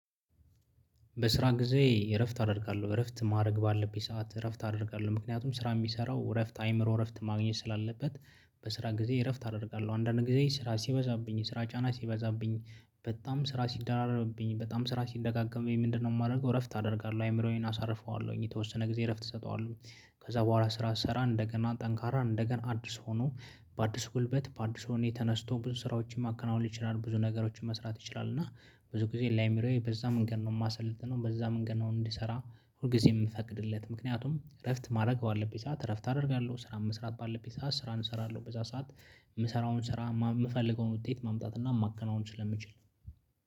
በስራ ጊዜ እረፍት አደርጋለሁ እረፍት ማድረግ ባለብኝ ሰዓት እረፍት አደርጋለሁ ምክንያቱም ስራ እሚሰራው እረፍት አይምሮ እረፍት ማግኘት ስላለበት በስራ ጊዜ እረፍት አደርጋለሁ አንዳንዴ ጊዜ ስራ ሲበዛብኝ የስራ ጫና ሲበዛብኝ በጣም ስራ ሲደራረብብኝ በጣም ስራ ሲደጋገምብኝ ወይ ምንድነው እማደርገው እረፍት አደርጋለሁ አይምሮዬን አሳርፈዋለሁኝ የተወሰነ ጊዜ እረፍት እሰጠዋለሁ። ከዛ በኋላ ስራ ስሰራን እንደገና ጠንካራን እንደገና አዲስ ሆኖ በአዲስ ጉልበት በአዲስ ወኔ ተነስቶ ብዙ ስራዎችን ማከናወን ይችላል። ብዙ ነገሮችን መስራት ይችላል። እና ብዙ ጊዜ ላይሚሮዬ በዛ መንገድ ነው እማሰልጥነው በዛ መንገድ ነው እንዲሰራ። ሁል ጊዜ እምፈቅድለት ምክንያቱም እረፍት ማድረግ ባለብኝ ሰዓት እረፍት አደርጋለሁ። ስራ መስራት ባለብኝ ስራን እሰራለሁ በዛ ሰዓት። እምሰራውን ስራ እምፈልገውን ውጤት ማምጣት እና ማከናወን ስለምችል